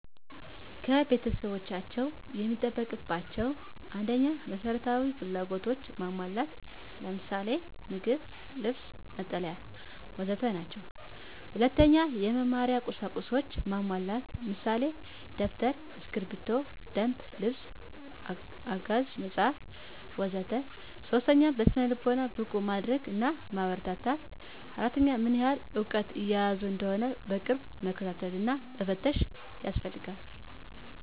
ከቤተሰቦቻቸው የሚጠበቅባቸው 1. መሰረታዊ ፍላጎቶችን ማሟላት ምሳሌ:- ምግብ፣ ልብስ፣ መጠለያ... ወዘተ 2. የመማሪያ ቀሳቁሶችን ማሟላት ምሳሌ:- ደብተር፣ ስክብሪቶ፣ የደንብ ልብስ፣ አጋዥ መፀሀፍት... ወዘተ 3. በስነ-ልቦና ብቁ ማድረግ እና ማበረታታት 4. ምን ያህል እውቀት እየያዙ እንደሆነ በቅርብ መከታተል እና መፈተሽ ያስፈልጋል።